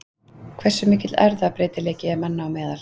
Hversu mikill erfðabreytileiki er manna á meðal?